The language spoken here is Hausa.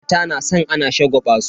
Mata na san ana shagwaba su.